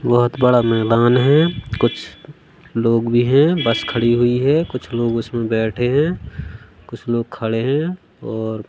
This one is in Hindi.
बहोत बड़ा मैदान है कुछ लोग भी हैं बस खड़ी हुई है कुछ लोग उसमें बैठे हैं कुछ लोग खड़े हैं और--